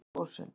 Fimm þúsund